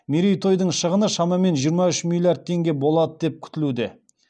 мерейтойдың шығыны шамамен жиыра үш миллиард теңге болады деп күтілуде